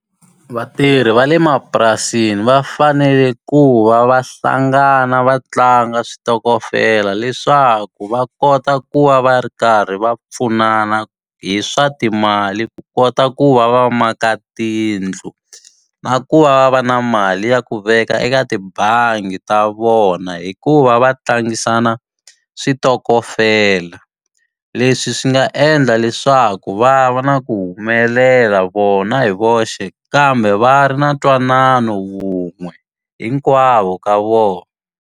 Vatirhi va le mapurasini va fanele ku va va hlangana va tlanga switokofela leswaku va kota ku va va ri karhi va pfunana hi swa timali ku kota ku va va maka tiyindlu. Na ku va va va na mali ya ku veka eka tibangi ta vona, hikuva va tlangisana switokofela. Leswi swi nga endla leswaku va va na ku humelela vona hi voxe, kambe va ri na ntwanano wun'we hinkwavo ka vona.